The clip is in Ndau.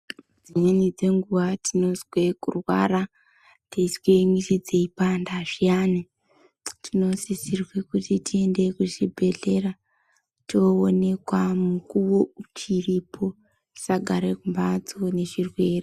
Dzimweni dzenguva tinozwe kurwara teizwe mwiri dzeipanda zviyani tinosisirwe kuti tiende kuzvibhehlera toonekwa mukowo uchiripo tisagare kumbatso nechirwere.